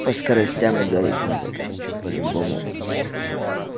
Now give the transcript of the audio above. по скоростям ударить надо короче по-любому